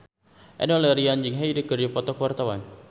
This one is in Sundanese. Enno Lerian jeung Hyde keur dipoto ku wartawan